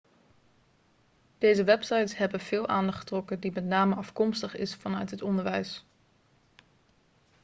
deze websites hebben veel aandacht getrokken die met name afkomstig is vanuit het onderwijs